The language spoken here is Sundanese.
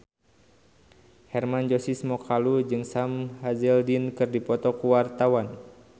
Hermann Josis Mokalu jeung Sam Hazeldine keur dipoto ku wartawan